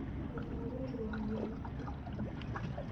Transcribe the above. Etupuroitie ropiyani.